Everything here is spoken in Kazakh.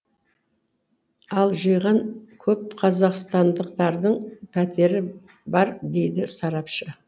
ал жиғаны көп қазақстандықтардың пәтері бар дейді сарапшы